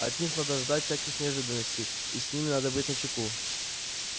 от них надо ждать всяких неожиданностей и с ними надо быть начеку